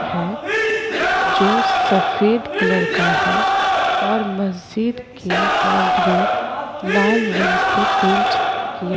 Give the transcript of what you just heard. है जो सफेद कलर का है और मस्जिद की बॉन्ड्री लाल रंग से पेंट किया --